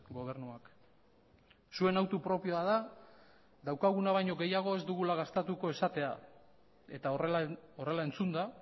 gobernuak zuen autu propioa da daukaguna baino gehiago ez dugula gastatuko esatea eta horrela entzunda